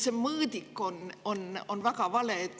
See mõõdik on väga vale.